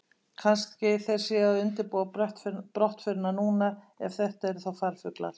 Kannski þeir séu að undirbúa brottförina núna, ef þetta eru þá farfuglar.